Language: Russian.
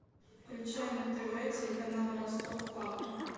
включай на тв телеканал ростов папа